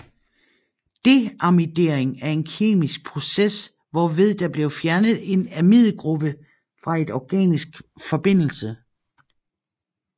Deamidering er en kemisk process hvorved der bliver fjernet en amidgruppe fra en organisk forbindelse